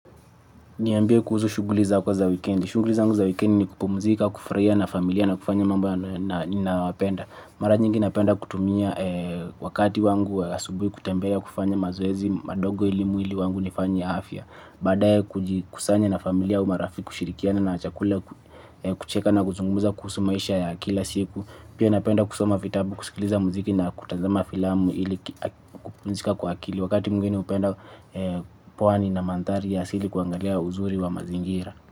Niambia kuhusu shunguli zako za weekendi. Shunguli zangu za weekendi ni kupumzika, kufraia na familia na kufanya mambo na wapenda. Mara nyingi napenda kutumia wakati wangu asubuhi kutembea ya kufanya mazoezi madogo ili mwili wangu nifanya ya afya. Badae kujikusanya na familia au marafiki kushirikiana na chakula kucheka na kuzungumuza kuhusu maisha ya kila siku. Pia napenda kusoma vitabu kusikiliza muziki na kutazama filamu ili kupunjika kwa akili. Wakati mwingine upenda puani na manthari ya sili kuangalia uzuri wa mazingira.